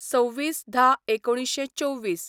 २६/१०/१९२४